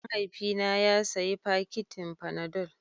Mahaifina ya sayi fakitin fanadol.